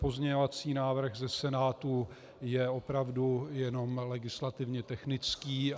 Pozměňovací návrh ze Senátu je opravdu jenom legislativně technický.